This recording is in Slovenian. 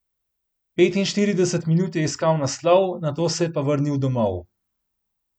Petinštirideset minut je iskal naslov, nato pa se je vrnil domov.